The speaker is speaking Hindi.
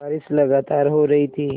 बारिश लगातार हो रही थी